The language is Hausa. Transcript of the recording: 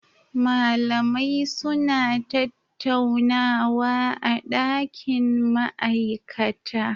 Mallamai suna tattaunawa a dakin ma'aikata